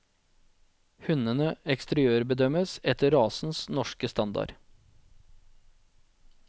Hundene eksteriørbedømmes etter rasens norske standard.